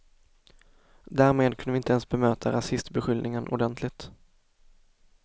Därmed kunde vi inte ens bemöta rasistbeskyllningen ordentligt.